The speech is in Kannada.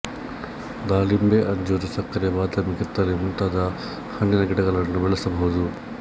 ದಾಳಿಂಬೆ ಅಂಜೂರ ಸಕ್ಕರೆ ಬಾದಾಮಿ ಕಿತ್ತಳೆ ಮುಂತಾದ ಹಣ್ಣಿನ ಗಿಡಗಳನ್ನು ಬೆಳೆಸಬಹುದು